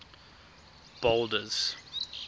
boulders